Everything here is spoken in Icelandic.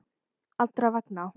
Allra vegna.